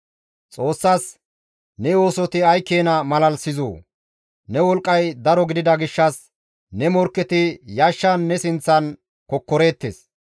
Xoossas, «Ne oosoti ay keena malalisizoo! Ne wolqqay daro gidida gishshas ne morkketi yashshan ne sinththan kokkoreettes.